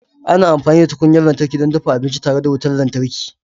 Ana amfani da tukunyar lantarki don dafa abinci tare da wutar lantarki.